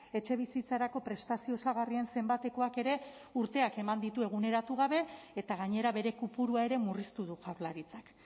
etxebizitzarako prestazio osagarrien zenbatekoak ere urteak eman ditu eguneratu gabe eta gainera bere kopurua ere murriztu du jaurlaritzak